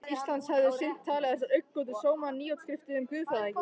Íslands hefðu seint talið þessar augnagotur sóma nýútskrifuðum guðfræðingi.